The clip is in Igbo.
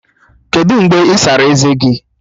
Kedụ mgbe ị sara eze gi?